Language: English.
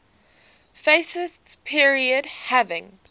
fascist period having